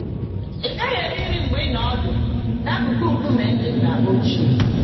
Ị gaghị eri nri mgbe ị nọ ọdụ n'akụkụ nkume ndị nna ochie.